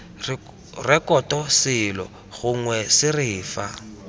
rekoto selo gongwe sere fa